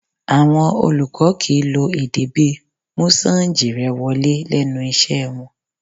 Àwọn olùkọ́ kìí lo èdè bíi 'mú sáǹjì rẹ wọlé' lẹ́nu iṣẹ́ wọn